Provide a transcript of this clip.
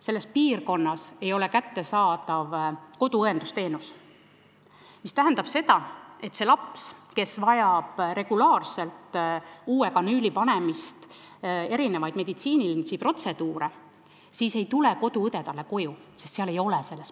Selles piirkonnas ei ole kättesaadav koduõendusteenus, mis tähendab, et kui laps vajab regulaarselt uue kanüüli panemist ja mitmeid meditsiinilisi protseduure, siis ei tule sealse piirkonna koduõde sinna koju, sest seal koduõdesid ei ole.